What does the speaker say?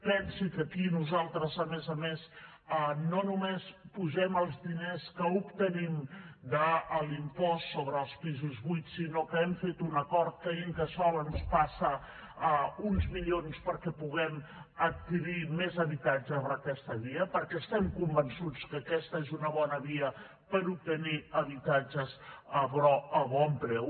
pensi que aquí nosaltres a més a més no només hi posem els diners que obtenim de l’impost sobre els pisos buits sinó que hem fet un acord que incasòl ens passa uns milions perquè puguem adquirir més habitatges per aquesta via perquè estem convençuts que aquesta és una bona via per obtenir habitatges a bon preu